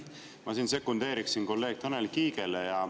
Ma siin sekundeeriksin kolleeg Tanel Kiigele.